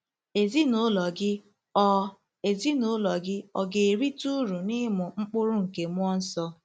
Ezinụlọ gị ọ̀ Ezinụlọ gị ọ̀ ga-erite uru n'ịmụ mkpụrụ nke mmụọ nsọ?